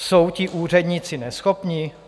Jsou ti úředníci neschopní?